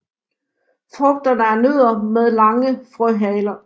Frugterne er nødder med lange frøhaler